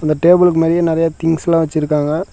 அந்த டேபிளுக்கு மேலயே நிறைய திங்ஸ் எல்லா வெச்சிருக்காங்க.